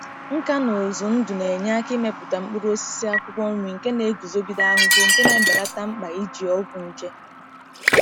Nka na ụzụ ndụ na-enye aka imepụta mkpụrụ osisi akwụkwọ nri nke na-eguzogide ahụhụ, nke na-ebelata mkpa iji ọgwụ nje.